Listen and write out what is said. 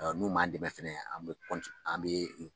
N'u m'an dɛmɛ fana an bɛ an bɛ